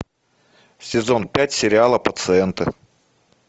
сезон пять сериала пациенты